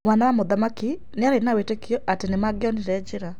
Mwana wa mũthamaki nĩarĩ na wĩtĩkio atĩ nĩmangionire njĩra.